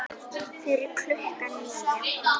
Fyrir klukkan níu.